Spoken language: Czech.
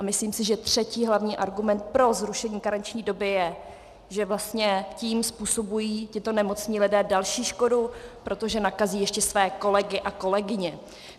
A myslím si, že třetí hlavní argument pro zrušení karenční doby je, že vlastně tím způsobují tito nemocní lidé další škodu, protože nakazí ještě své kolegy a kolegyně.